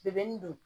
don